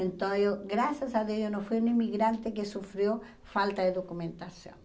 Então, eu graças a Deus, eu não fui uma imigrante que sofreu falta de documentação.